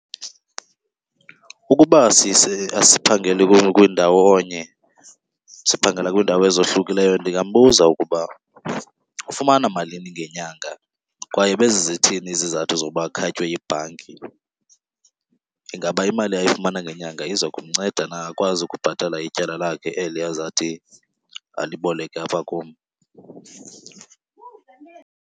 Ukuba asiphangeli kwiindawonyem siphangela kwiindawo ezohlukileyo ndingambuza ukuba ufumana malini ngenyanga kwaye bezi zithini izizathu zoba akhatywe yibhanki. Ingaba imali ayifumana ngenyanga iza kumnceda na akwazi ukubhatala ityala lakhe eli azawuthi aliboleke apha kum.